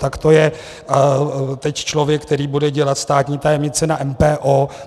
Tak to je teď člověk, který bude dělat státní tajemnici na MPO.